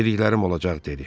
Dediklərim olacaq dedi.